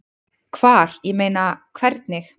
Hvar, ég meina. hvernig?